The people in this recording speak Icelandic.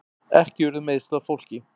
Ekki urðu meiðsl á fólki